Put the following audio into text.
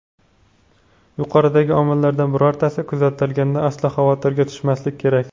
Yuqoridagi omillardan birortasi kuzatilganda, aslo xavotirga tushmaslik kerak.